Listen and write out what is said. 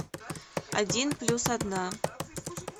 один плюс одна